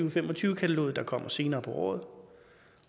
og fem og tyve kataloget der kommer senere på året